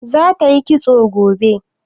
Za ta yi kitso gobe?